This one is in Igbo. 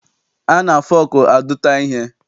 A na-fọọkụ adụta ihe.